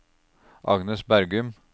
Agnes Bergum